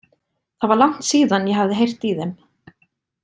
Það var langt síðan ég hafði heyrt í þeim.